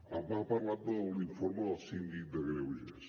m’ha parlat de l’informe del síndic de greuges